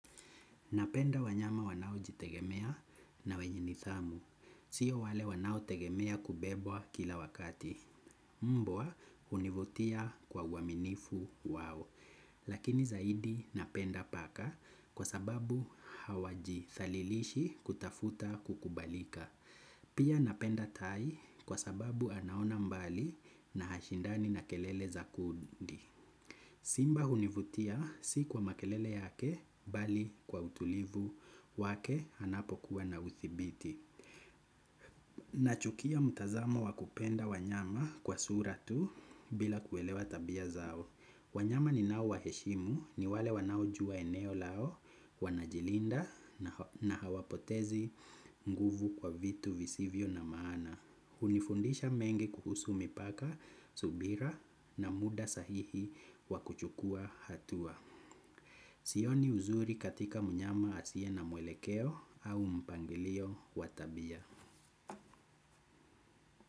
Napenda wanyama wanao jitegemea na wenye nithamu. Sio wale wanao tegemea kubebwa kila wakati. Mbwa univutia kwa waminifu wao. Lakini zaidi napenda paka kwa sababu hawaji thalilishi kutafuta kukubalika. Pia napenda tai kwa sababu anaona mbali na hashindani na kelele za kundi. Simba hunivutia si kwa makelele yake bali kwa utulivu wake hanapo kuwa na uthibiti. Nachukia mtazamo wakupenda wanyama kwa suratu bila kuelewa tabia zao. Wanyama ni nao waheshimu ni wale wanao jua eneo lao wanajilinda na hawapotezi nguvu kwa vitu visivyo na maana. Hunifundisha mengi kuhusu mipaka, subira na muda sahihi wakuchukua hatua. Sioni uzuri katika mnyama asie na mwelekeo au mpangilio watabia.